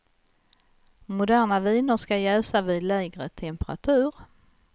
Moderna viner ska jäsa vid lägre temperatur.